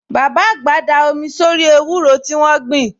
Bàbá àgbà da omi sórí ewúro tí wọ́n gbìn